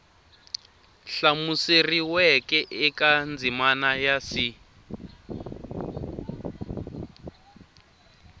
hlamuseriweke eka ndzimana ya c